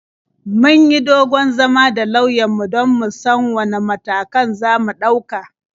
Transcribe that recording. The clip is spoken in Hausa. Mun yi dogon zama da lauyanmu don mu san wane matakan za mu ɗauka.